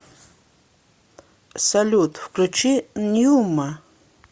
салют включи ньюма